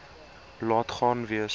laat gaan wees